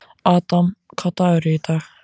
Adam, hvaða dagur er í dag?